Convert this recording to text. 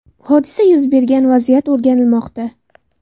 Hodisa yuz bergan vaziyat o‘rganilmoqda.